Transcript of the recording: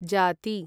जाती